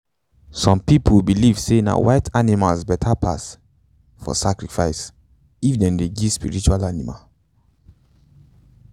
some pipo believe say na white animals beta pass for sacrifice if if them dey give spiritual animal.